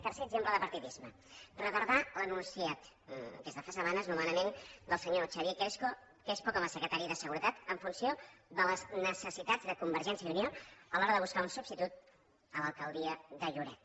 tercer exemple de partidisme retardar l’enunciat des de fa setmanes del nomenament del senyor xavier crespo com a secretari de seguretat en funció de les necessitats de convergència i unió a l’hora de buscar un substitut a l’alcaldia de lloret